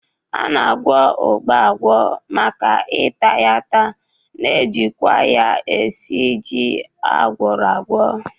A na-agwọ ụgba agwọ maka ita ya ata, na-ejikwa ya esi ji agwọro agwọ